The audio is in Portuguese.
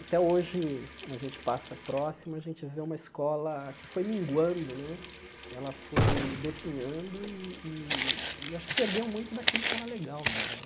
Até hoje, quando a gente passa próxima, a gente vê uma escola que foi minguando né, ela foi definhando e e e eu acho que perdeu muito daquilo que era legal nela.